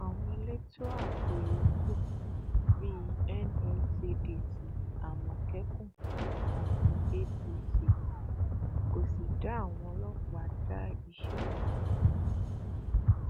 àwọn elétò ààbò yòókù bíi nscdc amókẹkùn àti apc kò sì dá àwọn ọlọpàá dá iṣẹ ọhún